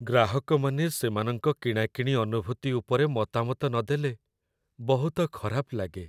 ଗ୍ରାହକମାନେ ସେମାନଙ୍କ କିଣାକିଣି ଅନୁଭୂତି ଉପରେ ମତାମତ ନଦେଲେ, ବହୁତ ଖରାପ ଲାଗେ।